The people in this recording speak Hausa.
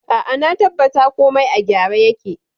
A'a, na tabbata komai a gyara yake.